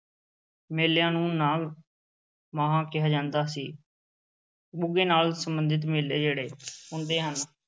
ਮੇਲਿਆਂ ਨੂੰ ਨਾਗ-ਮਾਹਾ ਕਿਹਾ ਜਾਂਦਾ ਸੀ ਗੁੱਗੇ ਨਾਲ ਸੰਬੰਧਿਤ ਮੇਲੇ ਜਿਹੜੇ ਹੁੰਦੇ ਹਨ।